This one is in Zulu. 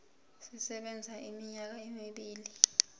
sisebenza iminyaka emibili